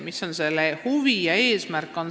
Mis on selle eesmärk?